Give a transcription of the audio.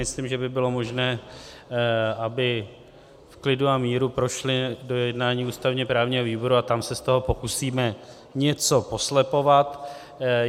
Myslím, že by bylo možné, aby v klidu a míru prošly do jednání ústavně-právního výboru a tam se z toho pokusíme něco poslepovat.